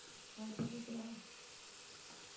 ஆஹ் இப்ப கேக்குதா